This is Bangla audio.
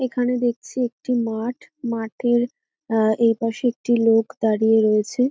এখানে দেখছি একটি মাঠ মাঠের আহ এপাশে একটি লোক দাড়িয়ে রয়েছে।